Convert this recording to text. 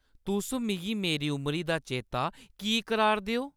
तुस मिगी मेरी उमरी दा चेता की कराऽ'रदे ओ?